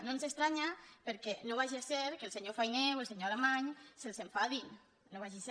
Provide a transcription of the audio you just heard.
no ens estranya perquè no vagi a ser que el senyor fainé o el senyor alemany se’ls enfadin no vagi a ser